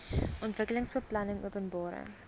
ontwikkelingsbeplanningopenbare